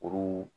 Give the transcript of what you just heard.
Olu